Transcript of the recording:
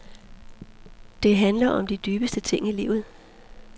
Det handler om de dybeste ting i livet.